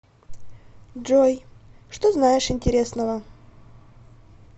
джой что знаешь интересного